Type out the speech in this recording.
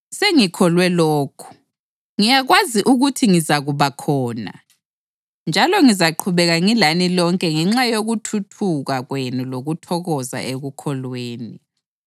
Sengikholwe lokhu, ngiyakwazi ukuthi ngizakuba khona, njalo ngizaqhubeka ngilani lonke ngenxa yokuthuthuka kwenu lokuthokoza ekukholweni,